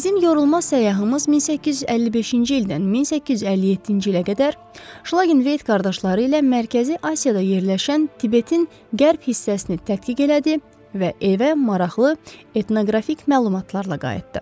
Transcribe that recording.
Bizim yorulmaz səyyahımız 1855-ci ildən 1857-ci ilə qədər Şlagenveyt qardaşları ilə Mərkəzi Asiyada yerləşən Tibetin qərb hissəsini tədqiq elədi və evə maraqlı etnoqrafik məlumatlarla qayıtdı.